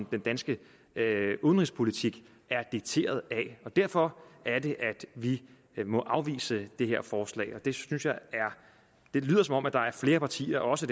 den danske udenrigspolitik er dikteret af det er derfor at vi må afvise det her forslag og det lyder som om der er flere partier også